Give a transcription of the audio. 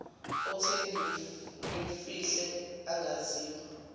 othe ngimfihle angaziwa